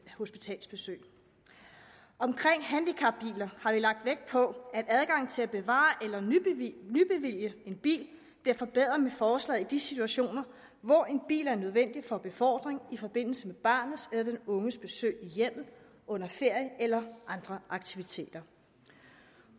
hospitalsbesøg omkring handicapbiler har vi lagt vægt på at adgangen til at bevare eller nybevilge en bil bliver forbedret med forslaget i de situationer hvor en bil er nødvendig for befordring i forbindelse med barnets eller den unges besøg i hjemmet under ferie eller andre aktiviteter